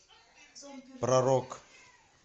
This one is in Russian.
про рок